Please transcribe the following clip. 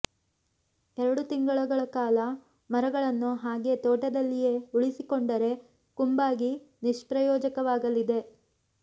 ಎರಡು ತಿಂಗಳ ಕಾಲ ಮರಗಳನ್ನು ಹಾಗೇ ತೋಟದಲ್ಲಿಯೇ ಉಳಿಸಿಕೊಂಡರೆ ಕುಂಬಾಗಿ ನಿಷ್ಪ್ರಯೋಜಕವಾಗಲಿದೆ